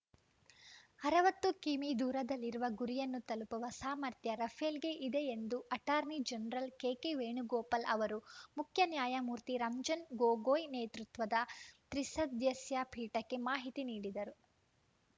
ಅರವತ್ತು ಕಿಮೀ ದೂರದಲ್ಲಿರುವ ಗುರಿಯನ್ನೂ ತಲುಪುವ ಸಾಮರ್ಥ್ಯ ರಫೇಲ್‌ಗೆ ಇದೆ ಎಂದು ಅಟಾರ್ನಿ ಜನರಲ್‌ ಕೆಕೆ ವೇಣುಗೋಪಾಲ್‌ ಅವರು ಮುಖ್ಯ ನ್ಯಾಯಮೂರ್ತಿ ರಂಜನ್‌ ಗೊಗೊಯ್‌ ನೇತೃತ್ವದ ತ್ರಿಸದಸ್ಯ ಪೀಠಕ್ಕೆ ಮಾಹಿತಿ ನೀಡಿದರು